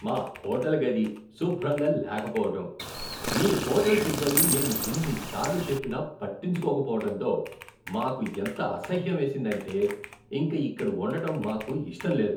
మా హోటల్ గది శుభ్రంగా లేకపోవడం, మీ హోటల్ సిబ్బంది మేము ఎన్ని సార్లు చెప్పినా పట్టించుకోక పోవటంతో మాకు ఎంత అసహ్యమేసిందంటే ఇంక ఇక్కడ ఉండటం మాకు ఇష్టం లేదు.